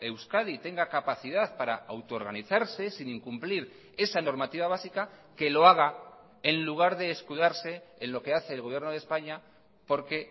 euskadi tenga capacidad para auto organizarse sin incumplir esa normativa básica que lo haga en lugar de escudarse en lo que hace el gobierno de españa porque